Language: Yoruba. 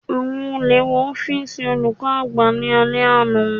Àwọn olè wọ ọ́fìsì olùkọ́ àgbà ní alẹ́ àná.